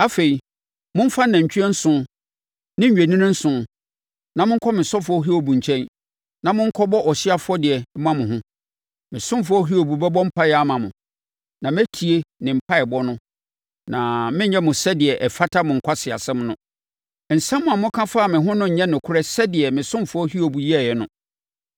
Afei, momfa anantwie nson ne nnwennini nson, na monkɔ me ɔsomfoɔ Hiob nkyɛn, na monkɔbɔ ɔhyeɛ afɔdeɛ mma mo ho. Me ɔsomfoɔ Hiob bɛbɔ mpaeɛ ama mo, na mɛtie ne mpaeɛbɔ no na merenyɛ mo sɛdeɛ ɛfata mo nkwaseasɛm no. Nsɛm a moka faa me ho no nyɛ nokorɛ sɛdeɛ me ɔsomfoɔ Hiob yɛeɛ no.”